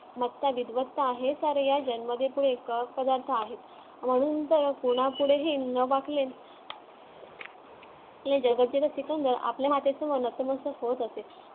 विध्वस्त आहे सारे म्हणून तर कोणापुढे हि न वाकले. या जगातील आपल्या मातेच्या नतमस्तक म्हणण्यानुसार होत असे